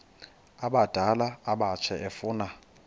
abadala abatsha efuna